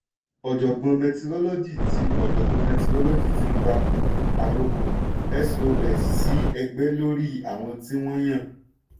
ọ̀jọ̀gbọ́n mẹtirolọ́gì ti ọ̀jọ̀gbọ́n mẹtirolọ́gì ti pa àrokò sos sí ẹgbẹ́ lórí àwọn tí wọ́n yàn.